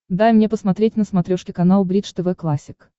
дай мне посмотреть на смотрешке канал бридж тв классик